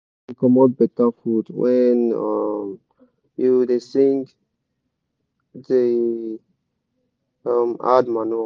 soil da comot better food when um you da sing da um add manure